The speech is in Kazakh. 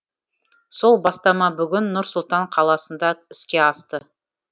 сол бастама бүгін нұр сұлтан қаласында іске асты